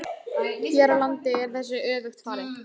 Hér á landi er þessu öfugt farið.